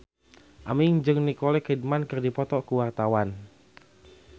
Aming jeung Nicole Kidman keur dipoto ku wartawan